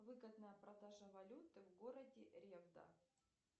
выгодная продажа валюты в городе ревда